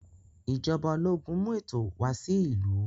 Ijọba ológun mú ètò wà sí ìlú.